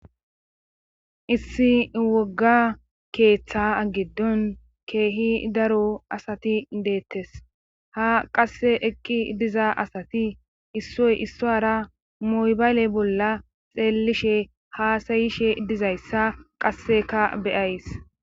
Issi wogga keeththa agiddon keehi daro asati deettes ha qasse ekki diza asati issoy issoara moybayle bolla xeelishe haasayishe dizayssa qasseka beyays